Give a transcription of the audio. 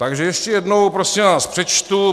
Takže ještě jednou, prosím vás, přečtu.